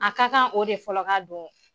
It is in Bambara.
A ka kan o de fɔlɔ ka don.